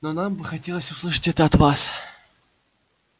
но нам бы хотелось услышать это от вас